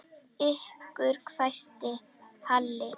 Ykkur hvæsti Halli.